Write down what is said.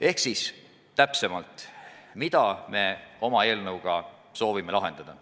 Aga nüüd täpsemalt sellest, mida me oma eelnõuga soovime lahendada.